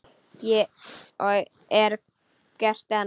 Og er gert enn.